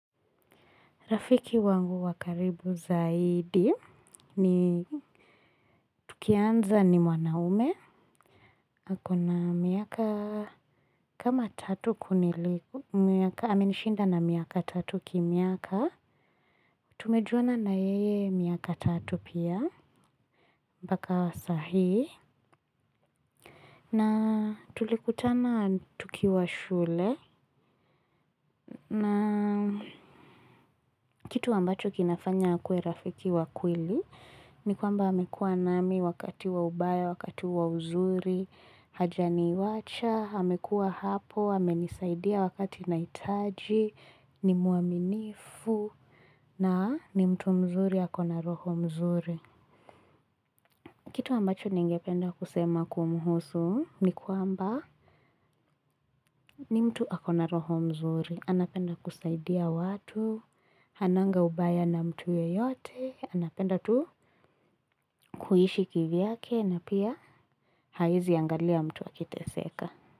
Rafiki wangu wa karibu zaidi ni tukianza ni mwanaume. Akona miaka kama tatu kuniliko. Miaka amenishinda na miaka tatu kimiaka. Tumejuana na yeye miaka tatu pia. Mpaka wa sahii. Na tulikutana tukiwa shule. Na kitu ambacho kinafanya akuwe rafiki wakweli. Ni kwamba amekua nami wakati waubaya, wakati wauzuri, hajani wacha, amekua hapo, amenisaidia wakati nahitaji, ni muaminifu, na ni mtu mzuri akona roho mzuri. Kitu ambacho ningependa kusema kumuhusu ni kwamba ni mtu akona roho mzuri. Anapenda kusaidia watu, hananga ubaya na mtu yeyote, anapenda tu kuishi kivyake na pia haezi angalia mtu akiteseka.